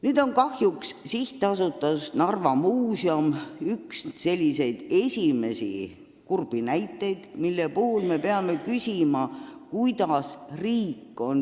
Nüüd on kahjuks SA Narva Muuseum üks selliseid esimesi kurbi näiteid, mille puhul on tekkinud hulk küsimusi.